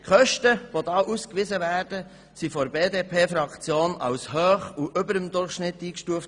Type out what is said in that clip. Die ausgewiesenen Kosten wurden von der BDP-Fraktion als hoch und überdurchschnittlich eingestuft.